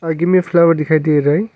आगे मैं फ्लावर दिखाई दे रहा है।